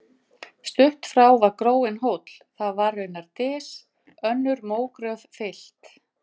Stutt frá var gróinn hóll, það var raunar dys, önnur mógröf fyllt.